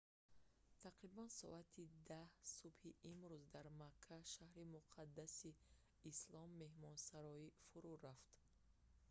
тақрибан соати 10 субҳи имрӯз дар макка шаҳри муқаддаси ислом меҳмонсарой фурӯъ рафт